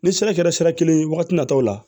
Ni sira kɛra sira kelen ye wagati nataw la